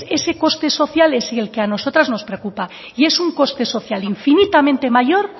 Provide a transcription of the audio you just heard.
ese coste social es el que a nosotras nos preocupa y es un coste social infinitamente mayor